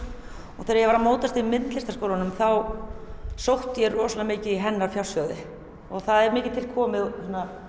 og þegar ég var að móast í Myndlistarskólanum þá sótti ég rosalega mikið í hennar fjársjóði og það er mikið til komið